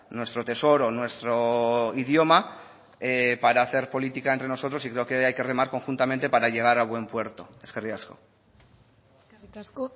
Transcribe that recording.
nuestro tesoro nuestro idioma para hacer política entre nosotros y creo que hay que remar conjuntamente para llegar a buen puerto eskerrik asko eskerrik asko